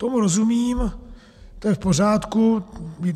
Tomu rozumím, to je v pořádku.